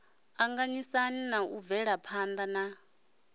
anganyisa na u bvelaphana na